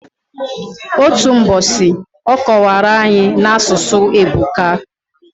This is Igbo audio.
Otu mbosi, ọ kọwara anyi, n'asụsụ ebuka.